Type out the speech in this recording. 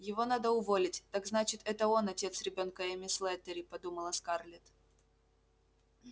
его надо уволить так значит это он отец ребёнка эмми слэттери подумала скарлетт